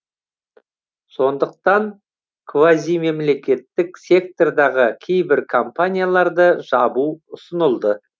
сондықтан квазимемлекеттік сектордағы кейбір компанияларды жабу ұсынылды